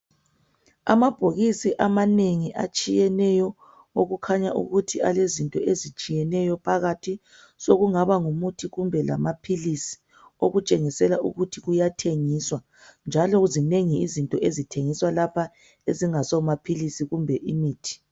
Amabhokisi amanengi etshiyeneyo okukhanya ukuthi alezinto ezitshiyeneyo phakathi sokungaba ngumuthi kumbe lamaphilisi okutshengisela ukuthi kuyathengiswa njalo zinengi izinto ezithengiswa lapha ezingaso amaphilisi kumbe imithi.